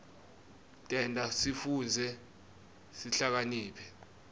tenta sifundze sihlakaniphe